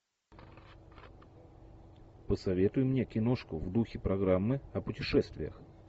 посоветуй мне киношку в духе программы о путешествиях